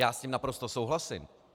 Já s tím naprosto souhlasím.